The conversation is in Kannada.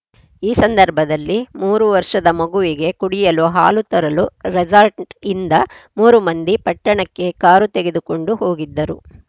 ಈ ಸಂದರ್ಭದಲ್ಲಿ ಮೂರು ವರ್ಷದ ಮಗುವಿಗೆ ಕುಡಿಯಲು ಹಾಲು ತರಲು ರೆಸಾರ್ಟ್‌ಯಿಂದ ಮೂರು ಮಂದಿ ಪಟ್ಟಣಕ್ಕೆ ಕಾರು ತೆಗೆದುಕೊಂಡು ಹೋಗಿದ್ದರು